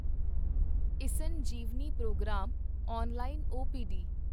eSanjeevani programme online OPD